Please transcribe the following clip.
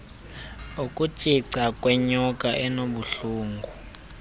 ukutshica kwenyoka enobuhlungu